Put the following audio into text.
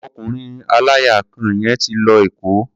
Ọkùnrin aláya kan yẹn ti lọ Èkó.